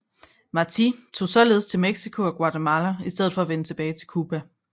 Martí tog således til Mexico og Guatemala i stedet for at vende tilbage til Cuba